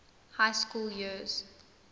high school years